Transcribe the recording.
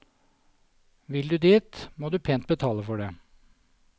Vil du dit, må du pent betale for det.